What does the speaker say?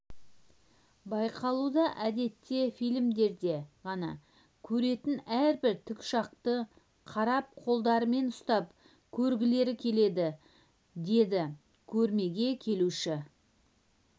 байқалуда әдетте фильмдерде ғана көретін әрбір тікұшақты қарап қолдарымен ұстап көргілері келеді деді көрмеге келуші